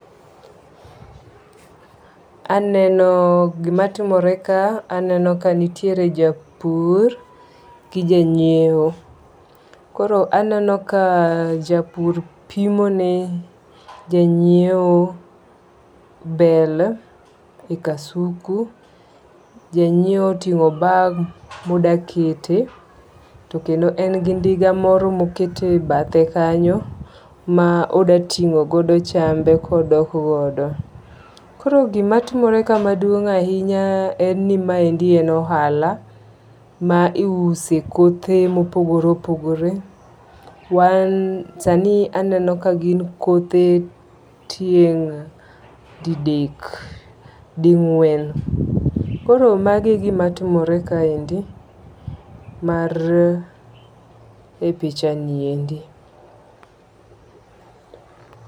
Aneno gima timore ka aneno ka nitiere japur gi ja nyiew. Koro aneno ka japur pimo ne janyiew bel e kasuku. Janyiew oting'o bag modakete. To kendo en gi ndiga moro ma okete bathe kanyo ma odatingogodo chambe kodok godo. Koro gimatimore ka maduong' ahinya en ni maendi en ohala ma iuse kothe mopogore opogore. Sani aneno ka gin kothe tieng' didek ding'uen. Koro magi e gima timore kaendi mar e pichniendi.